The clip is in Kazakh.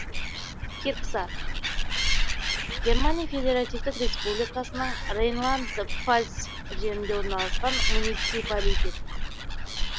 кирксар германия федеративтік республикасының рейнланд пфальц жерінде орналасқан муниципалитет